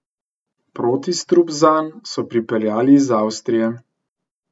Protistrup zanj so pripeljali iz Avstrije.